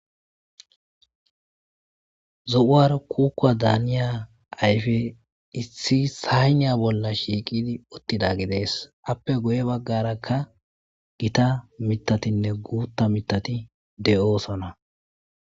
Zo,uara kuuka daaniya ayfe issi sayniya bolla shiiqidi uttida gidees appe guye baggarakka gita mitatinne guutta mitati de7oosona.